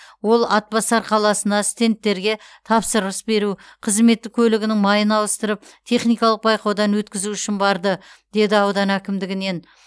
ол атбасар қаласына стендтерге тапсырыс беру қызметтік көлігінің майын ауыстырып техникалық байқаудан өткізу үшін барды деді аудан әкімдігінен